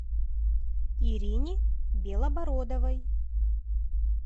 ирине белобородовой